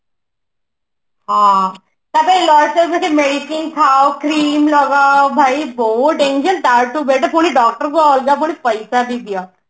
ହଁ ତା ପାଇଁ medicine ଖାଅ crime ଲଗାଅ ଭାଇ ବହୁତ danger ତାଠୁ better ପୁଣି doctor କୁ ଅଲଗା ପୁଣି ପଇସା ବି ଦିଅ